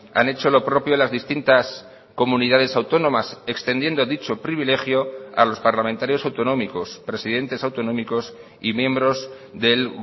han hecho lo propio las distintas comunidades autónomas extendiendo dicho privilegio a los parlamentarios autonómicos presidentes autonómicos y miembros del